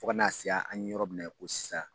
Fo kana se an ye yɔrɔ min na ko sisan